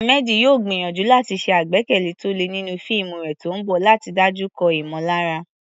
Ahmed yóò gbìyànjú láti ṣe àgbékalẹ̀ tó le nínú fíìmù rẹ̀ tó ń bọ̀ láti dojúkọ ìmọ̀lára.